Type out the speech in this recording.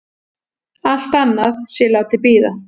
Allt annað sé látið bíða.